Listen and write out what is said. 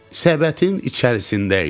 Səbətin içərisində idik.